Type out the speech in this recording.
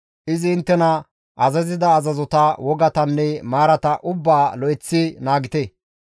Izi inttena azazida azazota, wogatanne maarata ubbaa lo7eththi naagite.